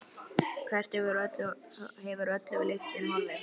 Hvert hefur öll lyktin horfið?